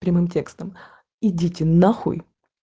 прямым текстом идите н